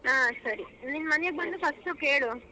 ಹಾ ಸರಿ. ನಿನ್ ಮನೆಗ ಬಂದು first ಕೇಳು .